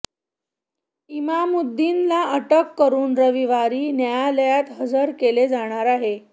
इमामुद्दीनला अटक करून रविवारी न्यायालयात हजर केले जाणार आहे